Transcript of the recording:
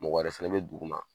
Mɔgɔ wɛrɛ fɛnɛ bi dugu ma